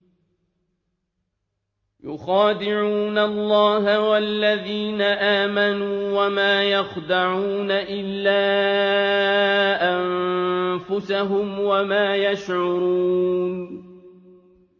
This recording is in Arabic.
يُخَادِعُونَ اللَّهَ وَالَّذِينَ آمَنُوا وَمَا يَخْدَعُونَ إِلَّا أَنفُسَهُمْ وَمَا يَشْعُرُونَ